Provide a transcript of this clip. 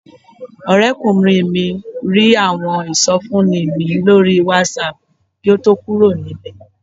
Ọ̀rẹ́kùnrin mi rí àwọn ìsọfúnni mi lórí Whatsapp kí ó tó kúrò nílé